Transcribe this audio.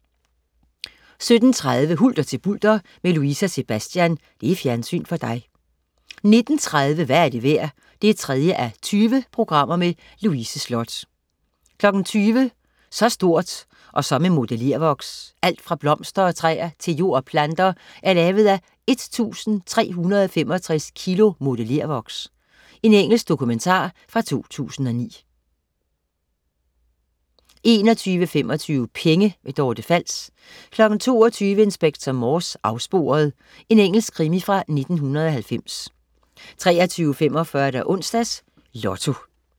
17.30 Hulter til bulter med Louise og Sebastian. Fjernsyn for dig 19.30 Hvad er det værd? 3:20. Louise Sloth 20.00 Så stort og så med modellervoks. Alt fra blomster og træer til jord og planter er lavet af 1365 kilo modellervoks. Engelsk dokumentar fra 2009 21.25 Penge. Dorte Fals 22.00 Inspector Morse: Afsporet. Engelsk krimi fra 1990 23.45 Onsdags Lotto